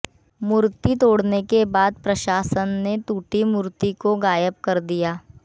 मूर्ति तोड़ने के बाद प्रशासन ने टूटी मूर्ति को गायब कर दिया